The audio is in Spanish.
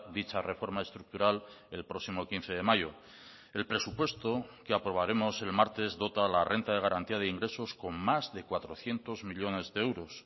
dicha reforma estructural el próximo quince de mayo el presupuesto que aprobaremos el martes dota la renta de garantía de ingresos con más de cuatrocientos millónes de euros